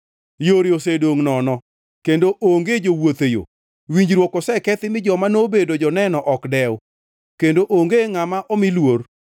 Yore osedongʼ nono, kendo onge jowuoth e yo. Winjruok osekethi mi joma nobedo joneno ok dew, kendo onge ngʼama omi luor.